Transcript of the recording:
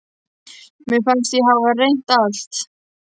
Mér fannst ég hafa reynt allt.